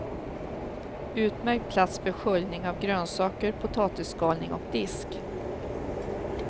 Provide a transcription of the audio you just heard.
Utmärkt plats för sköljning av grönsaker, potatisskalning och disk.